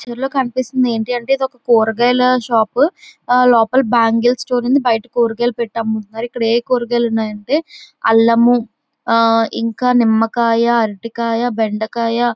ఈ పిక్చర్ లో కనిపిస్తుంది ఏంటంటే ఇది ఒక కూరగాయల షాపు లోపల బ్యాంగిల్ స్టోర్ ఉంది. బయట కూరగాయలు పెట్టే అమ్ముతున్నారు. ఇక్కడ ఏ కూరగాయలు ఉన్నాయంటేఅల్లము ఇంకా అరటికాయ నిమ్మకాయ బెండకాయ--